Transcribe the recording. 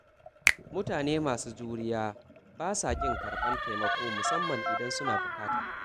Mutane masu juriya ba sa ƙin karɓar taimako musamman idan suna buƙata.